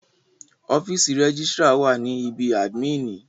Ọ́fìsì rẹ́gísrà wà ní ibí àdmínìì.